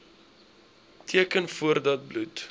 teken voordat bloed